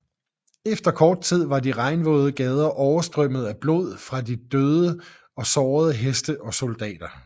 Efter kort tid var de regnvåde gader overstrømmet af blod fra døde og sårede heste og soldater